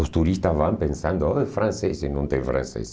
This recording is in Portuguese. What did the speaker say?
Os turistas vão pensando, oh, é francês, e não tem francês.